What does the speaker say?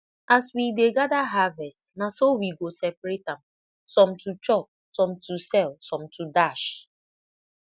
as we dey gather harvest na so we go separate am some to chop some to sell some to dash